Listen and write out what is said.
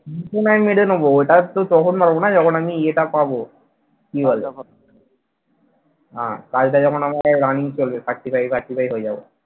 সেটা নয় মেনে নেবো ওটা তো তখন হবে না যখন আমি ইয়ে টা পাবো কি বলে আহ কাজটা যখন আমাকে running চলবে certify certify হয়ে যাবে।